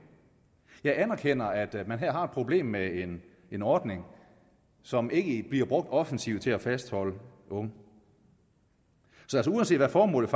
jeg anerkender at man her har et problem med en ordning som ikke bliver brugt offensivt til at fastholde unge så uanset hvad formålet